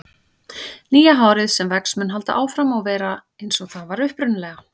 Nýja hárið sem vex mun halda áfram að vera eins og það var upprunalega.